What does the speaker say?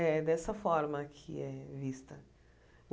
É dessa forma que é vista.